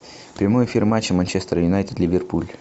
прямой эфир матча манчестер юнайтед ливерпуль